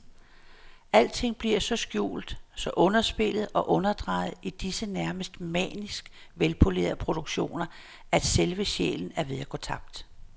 Alting bliver så skjult, så underspillet og underdrejet i disse nærmest manisk velpolerede produktioner, at selve sjælen er ved at gå tabt.